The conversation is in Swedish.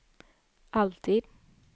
alltid